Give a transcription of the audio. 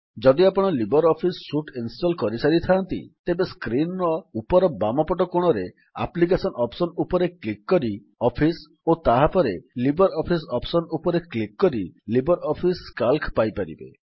ଯଦି ଆପଣ LibreOffice suite install କରିସାରିଥାନ୍ତି ତେବେ ସ୍କ୍ରୀନ୍ ର ଉପର ବାମପଟ କୋଣରେ ଆପ୍ଲିକେଶନ୍ ଅପ୍ସନ୍ ଉପରେ କ୍ଲିକ୍ କରି ଅଫିସ୍ ଓ ତାହାପରେ ଲିବର୍ ଅଫିସ୍ ଅପ୍ସନ୍ ଉପରେ କ୍ଲିକ୍ କରି ଲିବର୍ ଅଫିସ୍ ସିଏଏଲସି ପାଇପାରିବେ